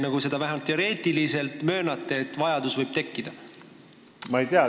Kas te möönate vähemalt teoreetiliselt, et selline vajadus võib tekkida?